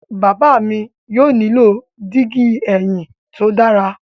Baba mi yóò nilo digi ẹhin to dara